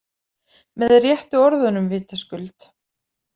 Með réttu orðunum vitaskuld.